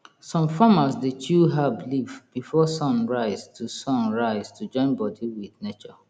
some farmers dey chew herb leaf before sun rise to sun rise to join body with nature